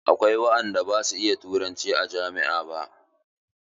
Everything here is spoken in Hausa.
Akwai waɗanda ba su iya turanci a jami'a ba.